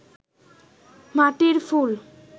মাটির ফুল